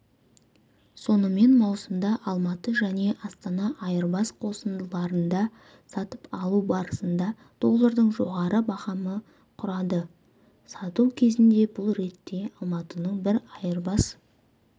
сонымен маусымда алматы және астана айырбас қосындарында сатып алу барысында доллардың жоғары бағамы құрады сату кезінде бұл ретте алматының бір айырбас